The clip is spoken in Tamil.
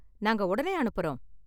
நாங்க உடனே அனுப்பறோம்.